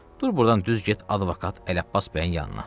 Dur burdan düz get advokat Ələbbas bəyin yanına.